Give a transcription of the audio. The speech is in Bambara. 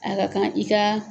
A ka kan i ka